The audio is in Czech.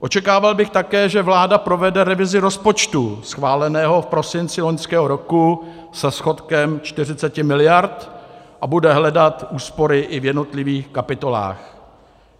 Očekával bych také, že vláda provede revizi rozpočtu schváleného v prosinci loňského roku se schodkem 40 miliard a bude hledat úspory i v jednotlivých kapitolách.